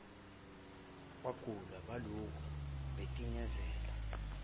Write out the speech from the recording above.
kwagule balokhu betinazele